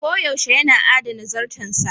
Koyaushe yana adana zarton sa.